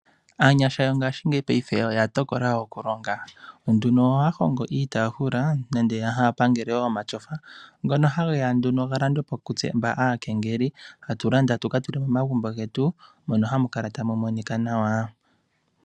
Aanyasha yongaashingeyi oya tokola nduno. Ohaya hongo iitaafula nenge ha ya pangele omatyofa, ngoka haga landwa po kaakengeli, taya landa ya ka tule momagumbo gawo, moka hamu kala tamu monika nawa.